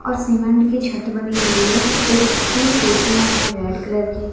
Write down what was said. और सीमेंट की छत बनी हुई है एक तीन कुर्सियां है रेड कलर की।